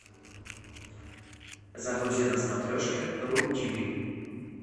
загрузи на смотрешке ру тиви